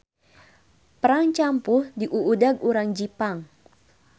Perang campuh diuudag urang Jipang.